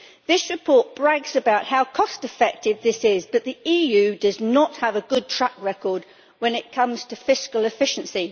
This report brags about how cost-effective this is, but the EU does not have a good track record when it comes to fiscal efficiency.